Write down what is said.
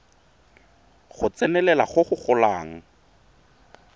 go tsenelela go go golang